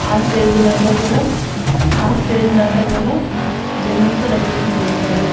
ఆ స్టేజి నంతా కూడా ఆ స్టేజి నంతా కూడా బెలూన్స్ తో డెకరేషన్ చేశారు.